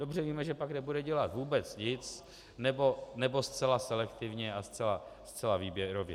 Dobře víme, že pak nebude dělat vůbec nic, nebo zcela selektivně a zcela výběrově.